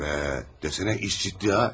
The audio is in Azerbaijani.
Vay be, desənə iş ciddi ha.